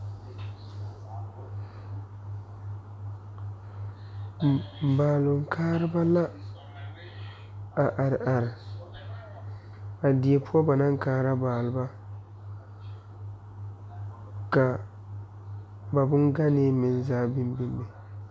Baaloŋ kaara ba la a are are a die poɔ ba naŋ kaara balba ka ba bongane meŋ zaa biŋ biŋ be.